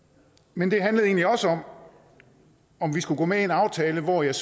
men det handlede egentlig også om om vi skulle gå med i en aftale hvor jeg